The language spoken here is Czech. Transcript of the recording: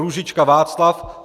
Růžička Václav